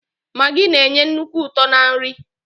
Magii na-enye nnukwu uto na nri.